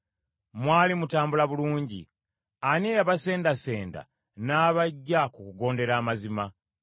Mwali mutambula bulungi. Ani eyabasendasenda n’abaggya ku kugondera amazima?